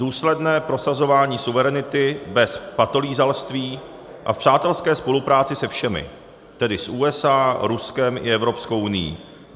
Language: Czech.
Důsledné prosazování suverenity bez patolízalství a v přátelské spolupráci se všemi, tedy s USA, Ruskem i Evropskou unií.